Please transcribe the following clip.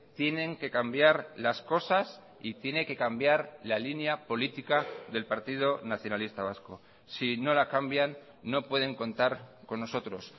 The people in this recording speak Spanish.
tienen que cambiar las cosas y tiene que cambiar la línea política del partido nacionalista vasco si no la cambian no pueden contar con nosotros